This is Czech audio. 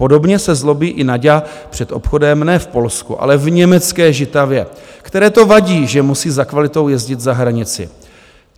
Podobně se zlobí i Naďa před obchodem ne v Polsku, ale v německé Žitavě, které to vadí, že musí za kvalitou jezdit za hranici.